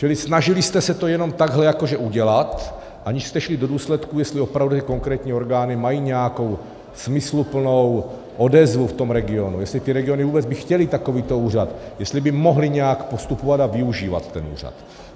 Čili snažili jste se to jenom takhle jakože udělat, aniž jste šli do důsledků, jestli opravu konkrétní orgány mají nějakou smysluplnou odezvu v tom regionu, jestli ty regiony vůbec by chtěly takovýto úřad, jestli by mohly nějak postupovat a využívat ten úřad.